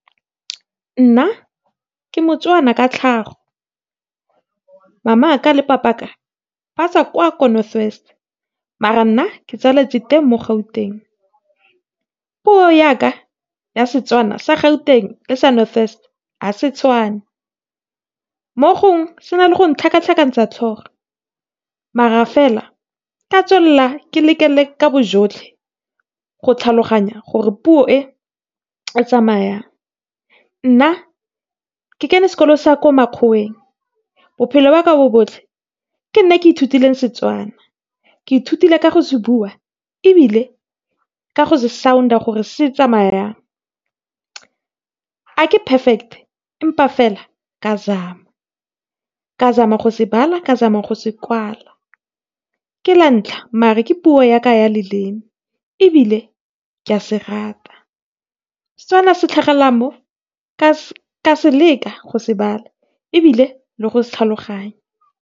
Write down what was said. Nna ke moTswana ka tlhago. Mamaka le Papaka ba tswa kwa ko North West, mara nna ke tsaletswe teng mo Gauteng. Puo yaka ya Setswana sa Gauteng, le sa North West, hase tshwane. Mo gongwe sena le go ntlhakatlhakantsa tlhogo, mara fela ke a tswelela ke leke ka bojotlhe go tlhaloganya gore puo e tsamaya jang. Nna ke kene sekolo sa ko makgoweng, bophelo ba ka bo botlhe ke nna ke ithutileng Setswana. Ke ithutile ka go se bua, ebile ka go se sound-a gore se tsamaya jang. A ke perfect-e, empa fela, ke a zama, ke zama go se bala, ke zama go se kwala. Ke la ntlha mare ke puo yaka ya leleme, ebile ke a se rata. Setswana se mo ke a leka go se bala, ebile le go se tlhaloganya.